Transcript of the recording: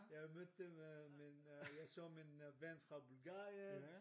Jeg mødte med in øh jeg så min ven fra Bulgarien